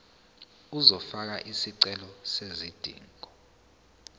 uzofaka isicelo sezidingo